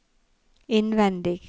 innvendig